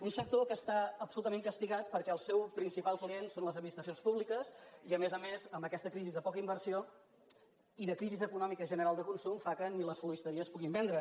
un sector que està absolutament castigat perquè el seu principal client són les administracions públiques i a més a més amb aquesta crisi de poca inversió i de crisi econòmica general de consum fa que ni les floristeries puguin vendre